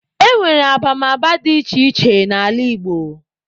E nwere abamaba dị iche iche n'ala Igbo.